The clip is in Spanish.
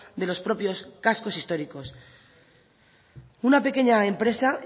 de los propios cascos históricos una pequeña empresa